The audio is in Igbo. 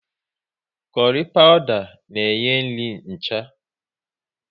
Kurry pawuda na enye nri ncha